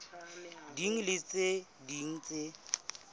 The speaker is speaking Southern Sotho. ding le tse ding tse